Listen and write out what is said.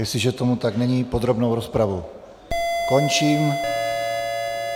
Jestliže tomu tak není, podrobnou rozpravu končím.